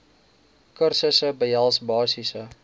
kursusse behels basiese